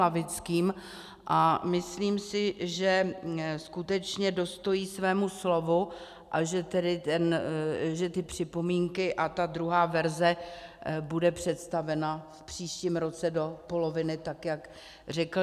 Lavickým a myslím si, že skutečně dostojí svému slovu a že ty připomínky a ta druhá verze bude představena v příštím roce do poloviny tak, jak řekl.